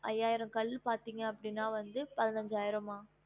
ஐயாயிரம் கல் பாத்திங்க அப்படினா வந்து பதினஞ்சாயிரமா